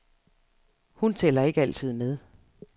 Hun tæller ikke altid med.